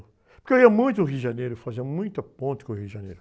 Porque eu ia muito ao Rio de Janeiro, fazia muita ponte com o Rio de Janeiro.